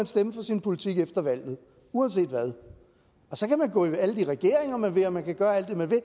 stemme for sin politik efter valget uanset hvad så kan man gå ind i alle de regeringer man vil og man kan gøre alt det man vil